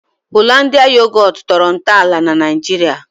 "Hollandia Yogut" tọrọ ntọala na Naịjirịa